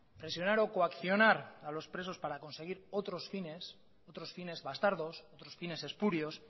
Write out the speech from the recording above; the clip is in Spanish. presionar o coaccionar a los presos para conseguir otros fines otros fines bastardos otros fines espurios